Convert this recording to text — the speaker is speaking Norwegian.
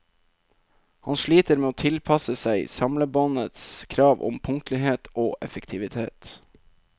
Han sliter med å tilpasse seg samlebåndets krav om punktlighet og effektivitet.